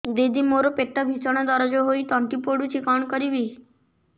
ଦିଦି ମୋର ପେଟ ଭୀଷଣ ଦରଜ ହୋଇ ତଣ୍ଟି ପୋଡୁଛି କଣ କରିବି